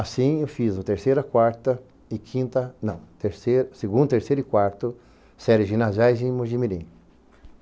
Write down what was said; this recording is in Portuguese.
Assim eu fiz o terceiro, a quarta e quinta, não, terce segundo, terceiro e quarto séries ginasiais em Mogi mirim.